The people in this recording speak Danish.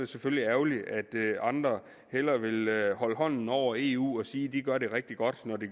selvfølgelig ærgerligt at andre hellere vil holde hånden over eu og sige at de gør det rigtig godt når de